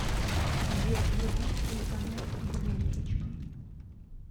сбер вруби телеканал ювелирочка